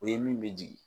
O ye min bɛ jigin